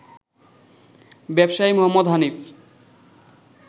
ব্যবসায়ী মোহাম্মদ হানিফ